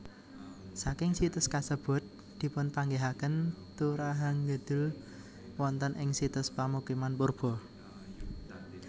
Saking situs kasebut dipunpanggihaken turahangudeul wonten ing situs pamukiman purba